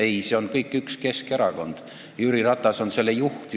Ei, see on kõik üks Keskerakond ja Jüri Ratas on selle juht.